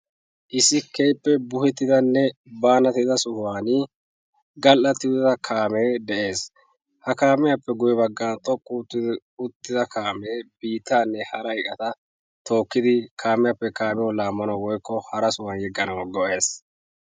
Issi keehippe buhettidanne banattida sohuwaan kaame de'ees. ha kaamiyaappe guyye baggan xoqqi uttida kaame biittanne hara iqqata tookidi kaamiyappe kaamiyaw yeganaw go''ees.